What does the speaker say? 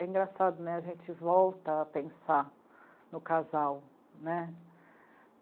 é engraçado, né, a gente volta a pensar no casal, né?